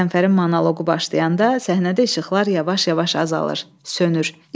Qəzənfərin monoqu başlayanda səhnədə işıqlar yavaş-yavaş azalır, sönür.